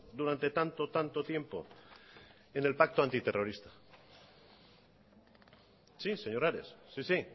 durante tanto tanto tiempo en el pacto antiterrorista sí señor ares sí sí